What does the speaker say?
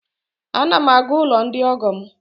A na m na-aga n'ụlọ ndi ọgọ m